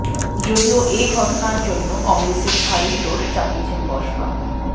যদিও এ ঘটনার জন্য কংগ্রেসের ঘাড়েই দোষ চাপিয়েছেন বসপা